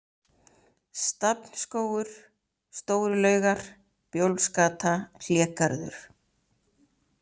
Stafnsskógur, Stóru-Laugar, Bjólfsgata, Hlégarður